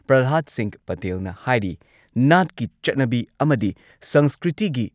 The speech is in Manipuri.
ꯄ꯭ꯔꯜꯍꯥꯗ ꯁꯤꯡꯍ ꯄꯇꯦꯜꯅ ꯍꯥꯏꯔꯤ ꯅꯥꯠꯀꯤ ꯆꯠꯅꯕꯤ ꯑꯃꯗꯤ ꯁꯪꯁꯀ꯭ꯔꯤꯇꯤꯒꯤ